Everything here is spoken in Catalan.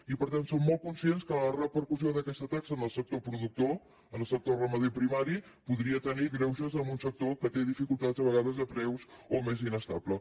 i per tant som molt conscients que la repercussió d’aquesta taxa en el sector productor en el sector ramader primari podria tenir greuges en un sector que té dificultats a vegades de preus o més inestable